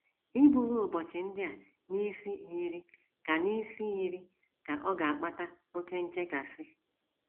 Iburu ụbọchị ndị a n’isi yiri ka n’isi yiri ka ọ̀ ga - akpata oké nchekasị.